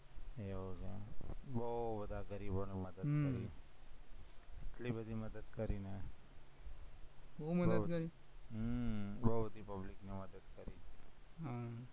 એવું છે એમ, બોવ બધા ગરીબોને મદદ કરી, હમ એટલી બધી મદદ કરી ને હમ બોવ બધી public ને મદદ કરી